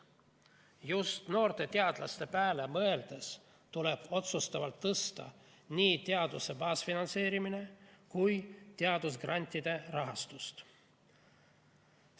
Just noorte teadlaste pääle mõeldes tuleb otsustavalt tõsta nii teaduse baasfinantseerimist kui ka teadusgrantide rahastust.